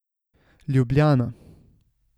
Ljubljana.